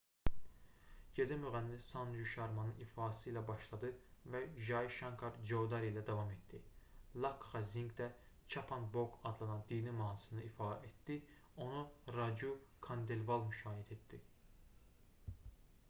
gecə müğənni sanju şarmanın ifası ilə başladı və jai şankar coudari ilə davam etdi lakxa zinq də chhappan bhog adlanan dini mahnısını ifa etdi onu racu kandelval müşayiət etdi